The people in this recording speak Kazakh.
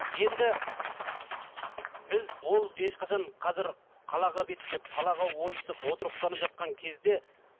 енді біз ол ешқашан қазір қалаға беттеп қалаға ойысып отырықтанып жатқан кезде